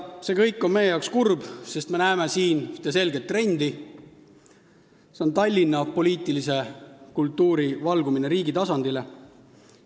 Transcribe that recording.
See kõik on meie arvates kurb, sest me näeme siin ühte selget trendi: see on Tallinna poliitilise kultuuri valgumine riigi tasandile.